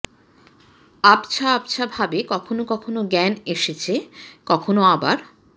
আবছা আবছা ভাবে কখনো কখনো জ্ঞান এসেছে কখনো আবার